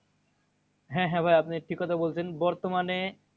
হ্যাঁ হ্যাঁ ভাইয়া আপনি ঠিক কথা বলছেন। বর্তমানে